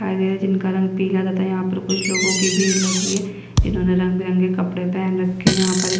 दिखाई दे रहे जिनका रंग पीला तथा यहाँ पर कुछ लोगों की भीड़ लगी है जिन्होंने रंग-बिरंगे कपड़े पहन रखे यहाँ पर एक --